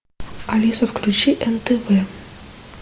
алиса включи нтв